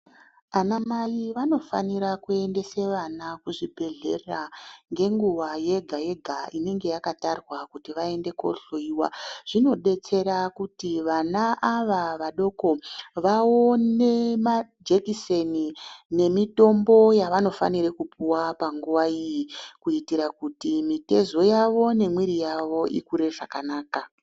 Anamai vanofanire kuendesa vana kuzvibhedhlera ngenguwa yega yega inenge yakatarwa kuti vaende kohloiwa zvinodetsera kuti vana ava vadoko vaone majekiseni nemitombo yavanofanira kupuwa panguwa iyi kuitira kuti mitezo yavo nemwiri yavo ikure zvakanaka.